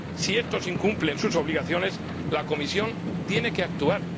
Si éstos incumplen sus obligaciones, la Comisión tiene que actuar.